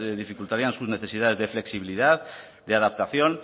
dificultarían sus necesidades de flexibilidad de adaptación